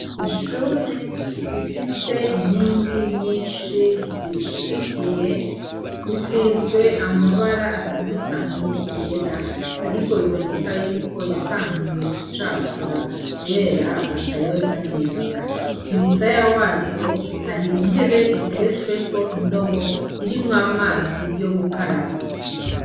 Ishure rifise inkingi nyinshi zirishigikiye zisizwe amabara atandukanye yera ariko biboneka yuko yatanguye gucafura kubera batayoza neza kumusaya waryo hari intebe iteretsweko indobo irimwo amazi yo gukaraba.